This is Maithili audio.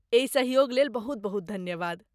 एहि सहयोग लेल बहुत बहुत धन्यवाद।